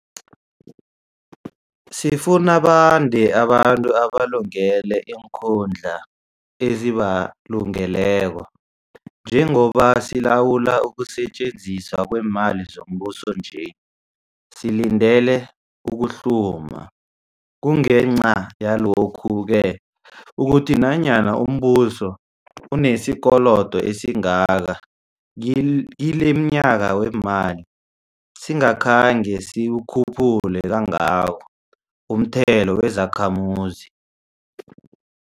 Sifuna bande abantu abalungele iinkhundla ezibalungeleko. Njengoba silawula ukusetjenziswa kweemali zombuso nje, silandelele ukuhluma. Kungenca yalokhu-ke ukuthi nanyana umbuso unesikolodo esingaka kil kilomnyaka weemali, singakhange siwukhuphule kangako umthelo wezakhamuzi.